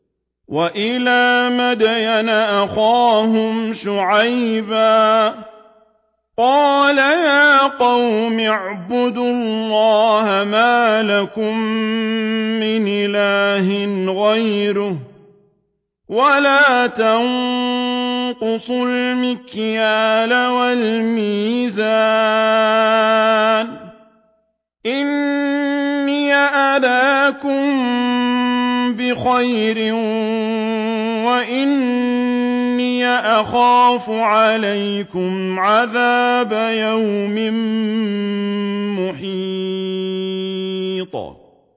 ۞ وَإِلَىٰ مَدْيَنَ أَخَاهُمْ شُعَيْبًا ۚ قَالَ يَا قَوْمِ اعْبُدُوا اللَّهَ مَا لَكُم مِّنْ إِلَٰهٍ غَيْرُهُ ۖ وَلَا تَنقُصُوا الْمِكْيَالَ وَالْمِيزَانَ ۚ إِنِّي أَرَاكُم بِخَيْرٍ وَإِنِّي أَخَافُ عَلَيْكُمْ عَذَابَ يَوْمٍ مُّحِيطٍ